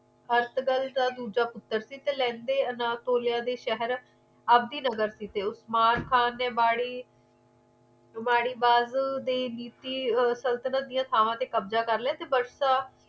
ਹਰਸ਼ ਦਲ ਦਾ ਦੂਜਾ ਪੁੱਤਰ ਸੀ ਲੈਦੇ ਅਲਾਪ ਤੋਲਿਆ ਦੇ ਸ਼ਹਿਰ ਅੱਜ ਦੀ ਨਜ਼ਰ ਸੀ ਉਸਮਾਰ ਖਾਨ ਮਾੜੀ ਬਾਜੂ ਦੀ ਨੀਤੀ ਸੰਤੁਲਨ ਤੇ ਥਾਂਵਾਂ ਕਬਜਾ ਕਰ ਲਿਆ